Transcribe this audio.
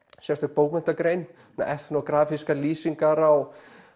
sérstök bókmenntagrein etnógrafískar lýsingar á